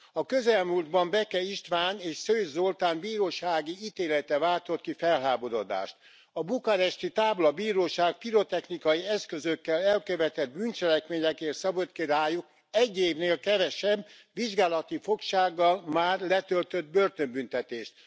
A közelmúltban Beke István és Szőcs Zoltán bírósági ítélete váltott ki felháborodást a bukaresti táblabíróság pirotechnikai eszközökkel elkövetett bűncselekményekért szabott ki rájuk egy évnél kevesebb, vizsgálati fogságban már letöltött börtönbüntetést.